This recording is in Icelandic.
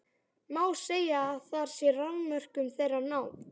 Má segja, að þar sé rofmörkum þeirra náð.